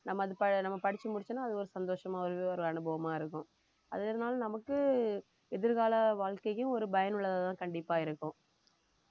நம்ம அது ப~ நம்ம படிச்சு முடிச்சோம்னா அது ஒரு சந்தோஷமா ஒரே ஒரு அனுபவமா இருக்கும் அதனால நமக்கு எதிர்கால வாழ்க்கைக்கு ஒரு பயனுள்ளதா கண்டிப்பா இருக்கும்